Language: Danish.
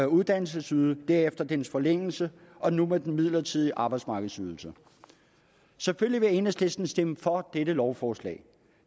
uddannelsesydelse derefter dens forlængelse og nu med den midlertidige arbejdsmarkedsydelse selvfølgelig vil enhedslisten stemme for dette lovforslag